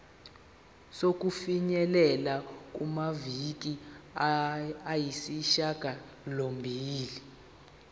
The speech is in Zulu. sokufinyelela kumaviki ayisishagalombili